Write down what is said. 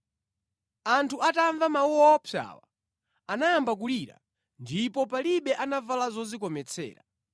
Anthu atamva mawu owopsawa, anayamba kulira ndipo palibe anavala zodzikometsera.